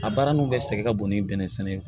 A baara ninnu bɛ sɛgɛn ka bon ni bɛnɛ sɛnɛ